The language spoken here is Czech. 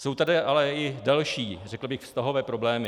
Jsou tady ale i další, řekl bych, vztahové problémy.